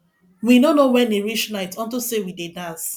we no know wen e reach night unto say we dey dance